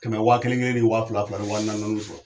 Ka na waa kelen kelen ni waa fila fila ka na waa naani sɔrɔ.